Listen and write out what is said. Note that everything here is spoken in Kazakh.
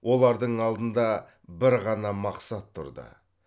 олардың алдында бір ғана мақсат тұрды